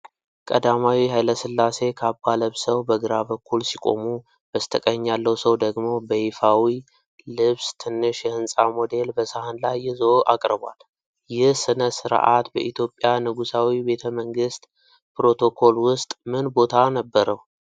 ቀዳማዊ ኃይለ ሥላሴ ካባ ለብሰው በግራ በኩል ሲቆሙ፤ በስተቀኝ ያለው ሰው ደግሞ በይፋዊ ልብስ ትንሽ የሕንፃ ሞዴል በሰሀን ላይ ይዞ አቅርቧል። ይህሥነ ሥርዓት በኢትዮጵያ ንጉሣዊ ቤተ መንግሥት ፕሮቶኮል ውስጥ ምን ቦታ ነበረው?